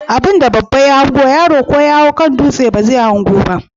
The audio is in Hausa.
Abinda babba ya hango yaro ko yahau kan dutse bazai hango ba?